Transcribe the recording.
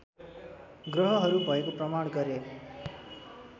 ग्रहहरू भएको प्रमाण गरे